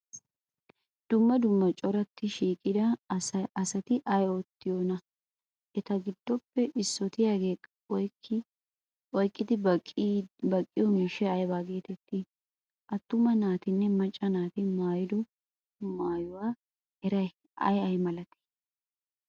Dumma dumma corattidi shiiqida asati ay oottiyoonaa? Eta giddoppe issootiyaagee oyqqidi baqqiyo miishshay aybaa geeteettii? Attuma naatinne macca naati maayido maayuwa meray ay ay malatii?